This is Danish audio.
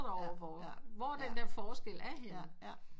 Dig over hvor den der forskel er henne